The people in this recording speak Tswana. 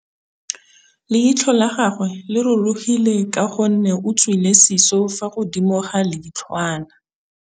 Leitlhô la gagwe le rurugile ka gore o tswile sisô fa godimo ga leitlhwana.